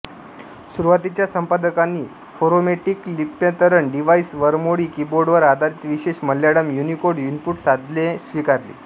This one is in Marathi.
सुरुवातीच्या संपादकांनी फोरामेटिक लिप्यंतरण डिव्हाइस वरमोळी कीबोर्डवर आधारित विशेष मल्याळम युनिकोड इनपुट साधने स्वीकारली